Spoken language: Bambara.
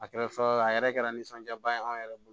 A kɛra fɔ a yɛrɛ kɛra nisɔndiya ba ye anw yɛrɛ bolo